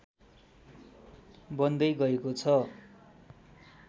बन्दै गएको छ